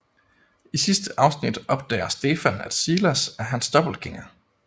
I sidste afsnit opdager Stefan at Silas er hans dobbeltgænger